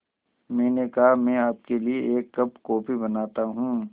मैंने कहा मैं आपके लिए एक कप कॉफ़ी बनाता हूँ